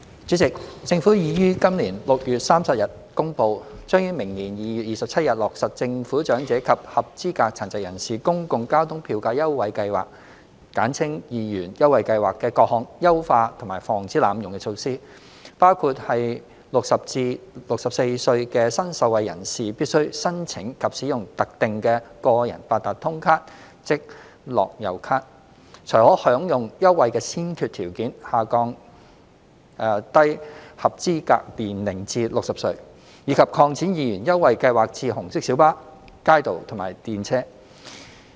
主席，政府已於今年6月30日公布，將於明年2月27日落實政府長者及合資格殘疾人士公共交通票價優惠計劃的各項優化和防止濫用的措施，包括在60至64歲的新受惠人士必須申請及使用特定的個人八達通卡才可享用優惠的先決條件下降低合資格年齡至60歲；以及擴展二元優惠計劃至紅色小巴、街渡和電車。